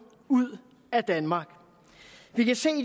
ud af danmark vi kan se at